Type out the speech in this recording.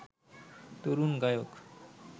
তরুণ গায়ক